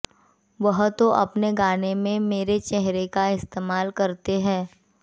वह तो अपने गाने में मेरे चेहरे का इस्तेमाल करते हैं